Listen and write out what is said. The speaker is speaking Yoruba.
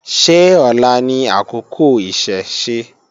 Ṣé ọ̀la ni àkókò Ìṣẹ̀ṣe?